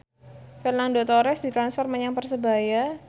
Fernando Torres ditransfer menyang Persebaya